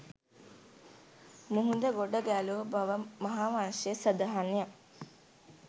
මුහුද ගොඩ ගැලූ බව මහාවංශයේ සඳහන්ය